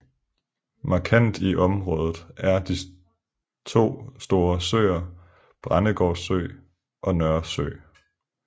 Markant i området er de to store søer Brændegård Sø og Nørresø